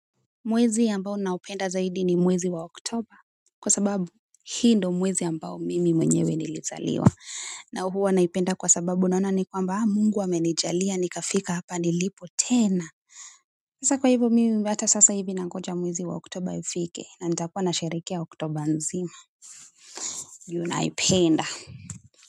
Mwezi ambao naupenda zaidi ni mwezi wa Oktoba kwa sababu hii ndio mwezi ambao mimi mwenyewe nilizaliwa na huwa naupenda kwa sababu naona ni kwamba hapa Mungu amenijalia nimefika hapa nilipo tena. Sasa kwa hivyo mimi baada ya sasa hivi nangoja mwezi wa Oktoba ufike na nitakuwa nasherehekea Oktoba nzima. Ju napenda.